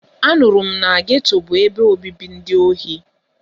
Anụrụ m na geto bụ ebe obibi ndị ohi.